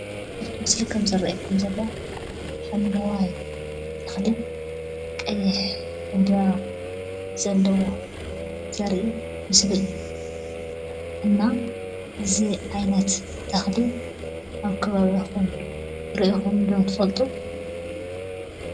እዚ ምስሊ ከም ዝረኣየኩም ዘሎ ሓምለዋይ ተኽሊን ቀይሕ ዕንበባን ዘለዎ ዘርኢ ምስሊ እዩ። እና እዚ ዓይነት ተኽሊ ኣብ ከባቢኩም ሪኢኹም ዶ ትፈልጡ ?